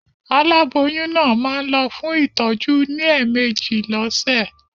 Aláboyún náà máa ń lọ fún ìtọ́jú ní ẹ̀meèjì lọ́sẹ̀.